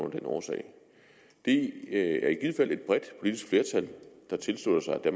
af den årsag det er i givet fald et bredt politisk flertal der tilslutter sig at